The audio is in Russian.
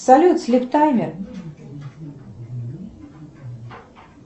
салют слип таймер